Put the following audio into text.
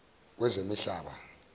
wezemihlaba